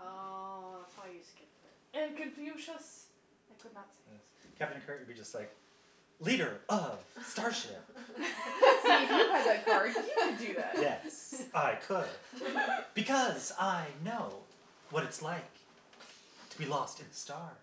Oh, that's why you skipped it. And Confucius I could not Yes, say. Captain Kirk would be just like leader of starship. See, if you had that card, you could do that. Yes, I could because I know what it's like to be lost in the stars.